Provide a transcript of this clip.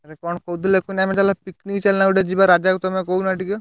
ଆରେ କଣ କହୁଥିଲି କୁହନୀ, ଆମେ ଚାଲୁନା picnic ଚାଲୁନା ଗୋଟେ ଯିବା, ରାଜାକୁ ତମେ କହୁନା ଟିକେ।